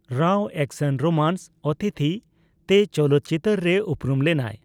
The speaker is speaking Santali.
ᱨᱟᱣ ᱮᱠᱥᱚᱱᱼᱨᱳᱢᱟᱱᱥ ᱚᱛᱷᱤᱫᱷᱤ ᱛᱮ ᱪᱚᱞᱚᱛ ᱪᱤᱛᱟᱹᱨ ᱨᱮ ᱩᱯᱨᱩᱢ ᱞᱮᱱᱟᱭ ᱾